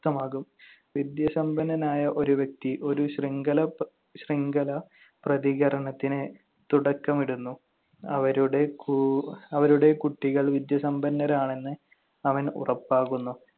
ക്തമാകും. വിദ്യാസമ്പന്നനായ ഒരു വ്യക്തി ഒരു ശൃംഖല~ ശൃംഖല പ്രതികരണത്തിന് തുടക്കമിടുന്നു. അവരുടെ കു~ കുട്ടികൾ വിദ്യാസമ്പന്നരാണെന്ന് അവൻ ഉറപ്പാകുന്നു.